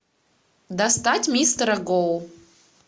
достать мистера гоу